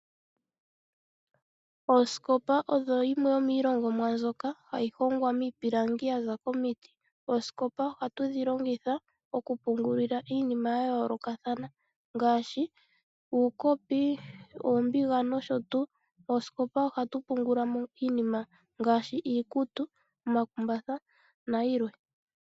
Oosikopa odho dhimwe dhomiilongomwa mbyoka hayi hongwa miipilangi yaza komiti. Oosikopa ohatu dhi longitha okupungulila iinima ya yoolokathana ngaashi uukopi, uumbiga nosho tuu. Mosikopa ohatu pungula mo iinima ngaashi iikutu, omakumbatha nayilwe.